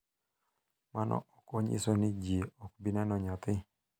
Mano ok onyiso ni ji ok bi neno nyathi.